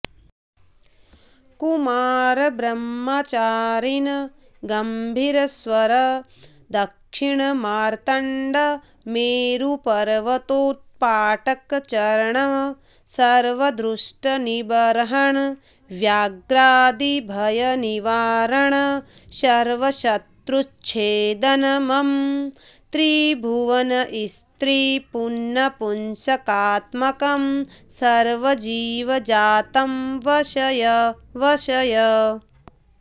कुमारब्रह्मचारिन् गम्भीरस्वर दक्षिणमार्तण्ड मेरुपर्वतोत्पाटकचरण सर्वदुष्टनिबर्हण व्याघ्रादिभयनिवारण सर्वशत्रुच्छेदन मम त्रिभुवनस्त्रीपुन्नपुंसकात्मकं सर्वजीवजातं वशय वशय